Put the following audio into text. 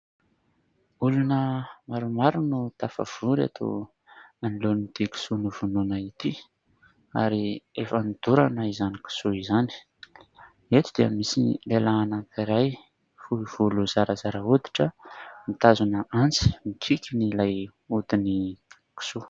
Olona maromaro no tafavory eto anoloan'ity kisoa novonoina ity, ary efa nodorana izany kisoa izany. Eto dia misy lehilahy anankiray fohy volo, zarazara hoditra mitazona antsy, mikiky an'ilay hodin'ny kisoa.